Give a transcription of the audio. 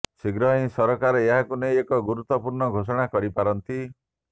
ଶୀଘ୍ର ହିଁ ସରକାର ଏହାକୁ ନେଇ ଏକ ଗୁରୁତ୍ୱପୂର୍ଣ୍ଣ ଘୋଷଣା କରିପାରନ୍ତି